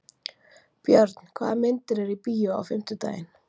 Björn, hvaða myndir eru í bíó á fimmtudaginn?